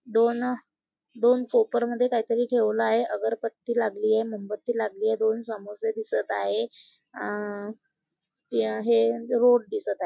दोन अ दोन कोपरमद्धे काहीतरी ठेवलं आहे अगरबत्ती लागलीये मोमबत्ती लागलीये दोन समोसे दिसत आहे अ ती आहे रोड दिसत आहे.